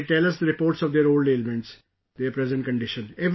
And they tell us the reports of their old ailments, their present condition...